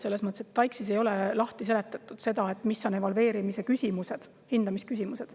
Selles mõttes, et TAIKS-is ei ole lahti seletatud, mis on evalveerimise küsimused, hindamisküsimused.